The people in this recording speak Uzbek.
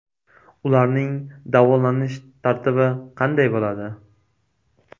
Ularning davolanish tartibi qanday bo‘ladi?